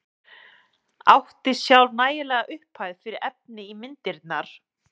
Átti sjálf nægilega upphæð fyrir efni í myndirnar.